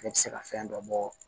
Ne tɛ se ka fɛn dɔ bɔ